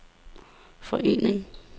forening